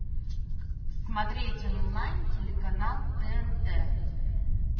смотреть онлайн телеканал тнт